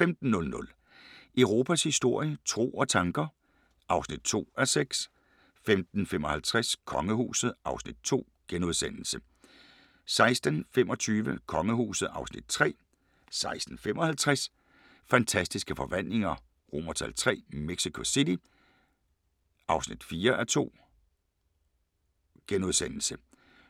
15:00: Europas historie – tro og tanker (2:6) 15:55: Kongehuset (Afs. 2)* 16:25: Kongehuset (Afs. 3) 16:55: Fantastiske Forvandlinger III – Mexico City (4:2)*